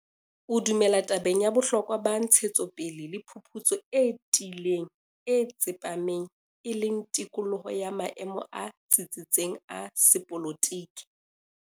O dumela tabeng ya bohlokwa ba ntshetsopele le phuputso e tiileng, e tsepameng, e leng tikoloho ya maemo a tsitsitseng a sepolotike.